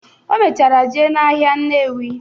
O mechara jee n'ahịa Nnewi.